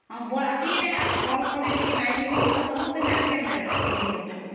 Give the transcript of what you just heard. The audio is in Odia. ହଁ ବିବାହ ଶୋଭାଯାତ୍ରା ରେ ଭଲ କରି ପିନ୍ଧିବୁ ଆଉ ନାଇଁ ହେଲେ ସବୁ ଦିନେ ଆଉ !ଅମ୍